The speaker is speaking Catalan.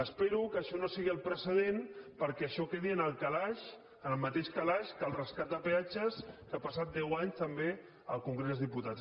espero que això no sigui el precedent perquè això quedi en el calaix en el mateix calaix que el rescat de peatges que ha passat deu anys també al congrés dels diputats